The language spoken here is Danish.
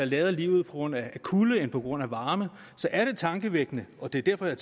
lade livet på grund af kulde end på grund af varme så er det tankevækkende og det er derfor jeg